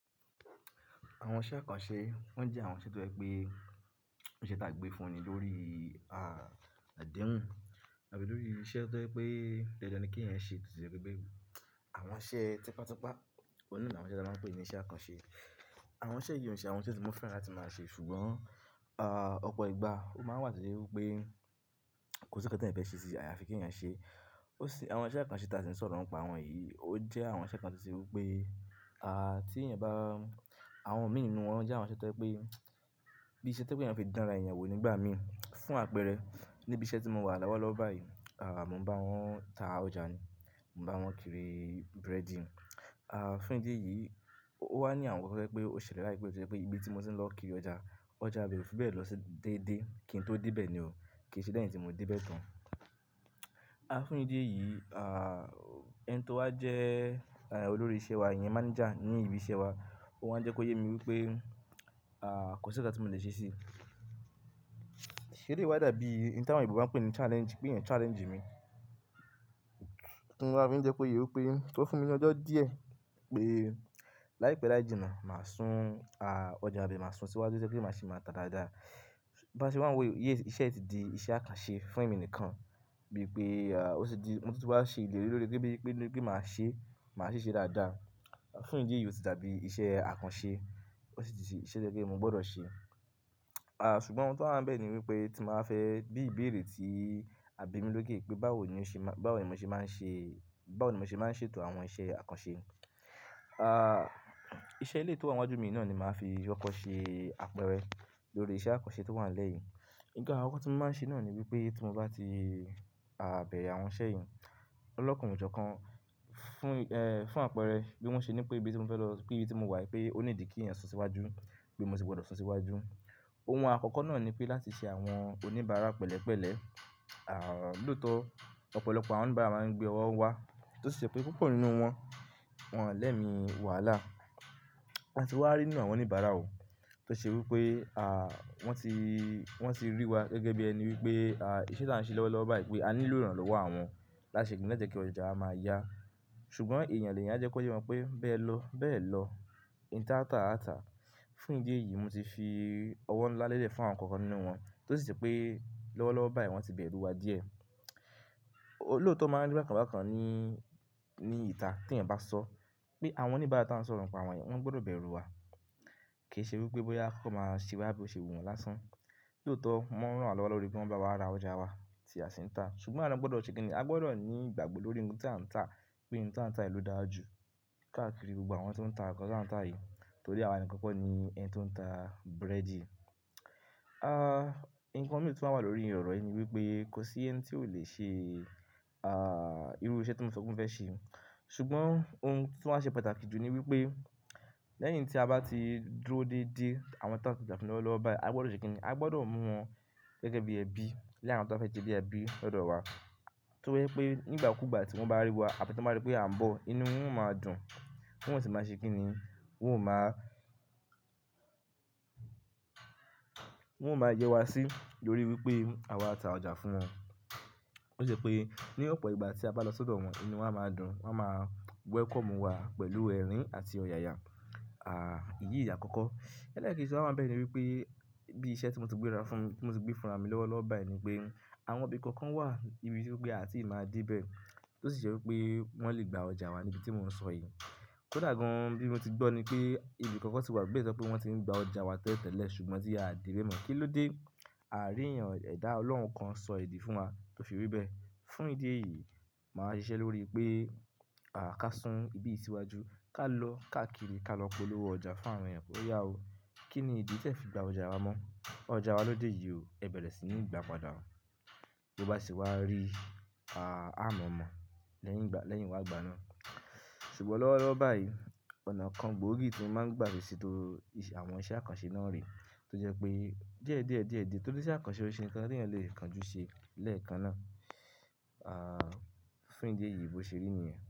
Àwọn iṣẹ́ àkànṣe wọ́n jẹ́ àwọn iṣẹ́ tó jẹ́ pé iṣẹ́ tí a gbé fún ni lórí, ah, adehun, àbí lórí iṣẹ́ tó jẹ́ pé dandan ni ki ẹnyan ṣe. Àwọn iṣẹ́ típátápá, ohun naa ni àwọn tí a máa ń pè ní iṣẹ́ àkànṣe. Àwọn iṣẹ́ yìí ò ṣe àwọn iṣẹ́ tí mo fẹ́ràn láti máa ṣe ṣùgbọ́n, ah, ọ̀pọ̀ ìgbà ló máa wá to je wípé kò sí nnkan tí eeyan fẹ́ ṣe sí, àyàfí kí ẹ̀eyan ṣe. Ó ṣe àwọn iṣẹ́ àkànṣe tí a ti lè sọ̀rọ̀ nípàá àwọn yìí, ó jẹ́ àwọn iṣẹ́ kan tí ṣe wípé, ah, tí ẹ̀yin bá, àwọn mí nínú wọn jẹ́ àwọn iṣẹ́ tó jẹ́ pé bí iṣẹ́ tó je pe eeyan lè fi dán ra èèyàn wò nígbà mii, fún àpẹẹrẹ níbi iṣẹ́ tí mò ń wà lọ́wọ́lọ́wọ́ báyìí, ah, mò ń bá wọn ń ta ọjà ni, mò ń bá wọn kiri búrẹ́dì. Ah, fún ìdí èyí ó wá ní àwọn to je pé ó ṣẹlẹ̀ láìpé tó jẹ́ pé ibi tí mò ń lọ kiri ọjà, ọjà bè o fi bẹ́ẹ̀ lọ dédé kí n tó dé bẹ́ẹ̀ ni o, kì í ṣe lẹ́yìn tí mò ń dé bẹ́ẹ̀ tán. Ah, fún ìdí èyí, ah, ẹni tó wá jẹ́ olórí iṣẹ́ wa, ìyẹn mánijà ní ibi iṣẹ́ wa, ó wá jẹ́ kó yé mi wípé, ah, kò sí nnkan tí mò lè ṣe sí i. Eleyii wà da bí ohun táwọn oyinbo ń pè ní challenge, pé ẹ̀eyan challenge mi. Mo tun wá fi jẹ kó yé o pé kó fún mi ní ọjọ́ díẹ̀ pé láìpẹ́ láì jìnnà mà sún, ah, ọjọ́ ìbe mà sún síwájú tó jẹ́ pé mà ṣe mà tà dáadáa. Bá ṣe wa n wò yi iṣẹ́ yìí ti di iṣẹ́ àkànṣe fún èmi nìkan bí i pé, ah, ó sì di ohun tó ti wá ṣe ìlérí lórí pé bí i pé kí mà ṣe, mà ṣe ṣe dáadáa. Fún ìdí èyí ò ti dàbí iṣẹ́ àkànṣe, ó sì ti ṣe iṣẹ́ tó jẹ́ mo gbọ́dọ̀ ṣe. Ah, ṣùgbọ́n ohun tó wa ń bẹ́ẹ̀ ni wípé tí màá fẹ́ bí ìbéèrè tí àbí mi lókè pé báwo ni ó ṣe má, báwo ni mò ṣe máa ń ṣe, báwo ni mò ṣe máa ń ṣètò àwọn iṣẹ́ àkànṣe. Ah, iṣẹ́ eleyii tó wà níwájú mi ní náà ni màá fi kokò ṣe àpẹẹrẹ lórí iṣẹ́ àkànṣe tó wà nílẹ́ yìí. Nnkan akoko tí mò máa ń ṣe náà ni wípé tí mo bá ti, ah, bẹ̀re àwọn iṣẹ́ yìí, ọlọ́kàn ojokan kan fún, ẹ́, fún àpẹẹrẹ bí wọ́n ṣe ní pé ibi tí mò ń fẹ́ lọ, pé ibi tí mò wà pé ó nídi kí ẹ̀ sun síwájú, pé mò sì gbọ́dọ̀ sun síwájú. Ohun àkọ́kọ́ náà ni pé láti ṣe àwọn oníbàárà pẹ̀lẹ́pẹ̀lẹ́. Ah, lóòtọ́ ọ̀pọ̀lọpọ̀ àwọn oníbàárà máa ń gbé ọwọ́ wá tó sì je pé púpọ̀ nínú wọn, wọ́n lẹ́mi wàhálà. Áti wá rí inú àwọn oníbàárà o tó ṣe wípé, ah, wọ́n ti, wọ́n ti rí wa gẹ́gẹ́ bí ẹni wípé, ah, iṣẹ́ tí à ń ṣe lọ́wọ́lọ́wọ́ báyìí pé a ní lóòrùn lọ́wọ́ àwọn láṣẹ kì í ní láti jẹ́ kí ọjà máa yá. Ṣùgbọ́n èèyàn lèeyán a jẹ́ kó yé pe wọn pé bẹ́ẹ̀ lọ, bẹ́ẹ̀ lọ, ohun tá a tà, a tàa. Fún ìdí èyí mò ti fi ọwọ́ ńlá lélẹ̀ fún àwọn kan nínú wọn tó sì ṣe pé lọ́wọ́lọ́wọ́ báyìí wọ́n ti bẹ̀rù wa díẹ̀. Olóòtọ́ máa ń ri bakàn bákan ní, ní ìta tí ẹ̀yin bá sọ pé àwọn oníbàárà tí à ń sọ̀rọ̀ nípàá àwọn yìí, wọ́n gbọ́dọ̀ bẹ̀rù wa. Kì í ṣe wípé bóyá á kọ́kọ́ máa ṣe wá bí o ṣe wù wọ́n lásán. Lóòtọ́ wọ́n n ranwa lọ́wọ́ lórí bí wọn bá wá ra ọjà wa tí a sì ń tà. Ṣùgbọ́n awa naa gbọ́dọ̀ ṣe kíni, a gbọ́dọ̀ ní ìgbàgbọ́ lórí ohun tí à ń tà pé ohun tí à ń tà yìí ló dára jù káàkiri gbogbo àwọn tó ń tà nǹkan tí à ń tà yìí torí àwa nìkan kọ́ ni ẹni tó ń tà búrẹ́dì. Ah, nǹkan mìíràn tí ó wà lórí oro yìí ni wípé kò sí ẹni tí ò le ṣe, ah, irú iṣẹ́ tí mò ń sọ pé mo fẹ́ ṣe. Ṣùgbọ́n ohun tí ó wa ṣe pàtàkì jù ni wípé lẹ́yìn tí a bá ti dúró dédé àwọn tá n taja fún lowolọ́wọ́ báyìí, a gbọ́dọ̀ ṣe kíni, a gbọ́dọ̀ mú wọn gẹ́gẹ́ bí ẹbí, lé àwọn tó fẹ́ jẹ́ bí ẹbí lọ́dọ̀ wa. Torí pé nígbà kúgbà tí wọn bá rí wa àti tí wọ́n bá rí pé à ń bọ̀, inú wọn ó máa dùn. Wọn ò sì máa ṣe kíni, wọn ò máa, wọn ò máa yẹ́ wa sí tórí wípé àwa tà ọjà fún wọn. Ó sì je pé ní ọ̀pọ̀ ìgbà tí a bá lọ sọ́dọ̀ wọn inú wọn a máa dùn, wọn máa wẹ́kọ̀mù wa pẹ̀lú ẹ̀rín àti ọ̀yàyà. Ah, èyí ni àkọ́kọ́. Eleekeji to waa wa ńibẹ́ẹ̀ ni wípé bí iṣẹ́ tí mò ti gbé ara fún, mò ti gbé fúnra mi lọ́wọ́lọ́wọ́ báyìí ni pé àwọn ibi kan kan wà ibi tí pé a ti máa dé bẹ́ẹ̀ tó sì je wípé wọ́n lè gba ọjà wa ní ibi tí mò ń sọ yìí. Kódà gan-an bí mo ti gbọ́ ni pé ibi kan kan sì wà nibẹ́ tọ pé wọ́n ti ń gba ọjà wa tẹ́tẹ́lẹ̀le ṣùgbọ́n tí a dé bẹ́ẹ̀ mọ̀. Kí ló dé? Aa rí èèyàn, ẹ̀dá Ọlọ́run kan sọ èdì fún wa tó fi ri bẹ́ẹ̀. Fún ìdí èyí màá ṣe iṣẹ́ lórí pé, ah, ká sún ibi yìí síwájú, ká lọ ká kiri, ká lọ polówó ọjà fún àwọn èèyàn pe o yá o. Kí ni ìdí tí ẹ fi gba ọjà wa mọ́? Ọjà wa lóde yìí o, ẹ bẹ̀rẹ̀ sí ní gba padàá. Bí ó bá sì wá rí, ah, a mọ̀ mọ̀ lẹ́yìn ìgbà, lẹ́yìn wá igba naa. Ṣùgbọ́n lọ́wọ́lọ́wọ́ báyìí ọ̀nà kan gbóògì tí mò ń gbà fi seto àwọn iṣẹ́ àkànṣe náà rè tó jẹ́ pé díẹ̀ díẹ̀ díẹ̀ díẹ̀ tó ní iṣẹ́ àkànṣe ó ṣe nǹkan tí ẹ̀yin lè kan jú ṣe lẹ́ẹ̀kan náà. Ah, fún ìdí èyí bó ṣe rí nìyẹn.